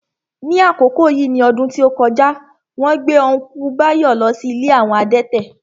Ní àkókò yìí ní ọdún tí ó kọjá, wón gbé Ọ́nkùlù Báyọ̀ lọ sí ilé àwọn adẹ́tẹ̀